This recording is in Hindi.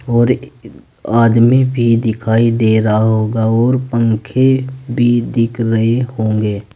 और आदमी भी दिखाई दे रहा होगा और पंखे भी दिख रहे होंगे।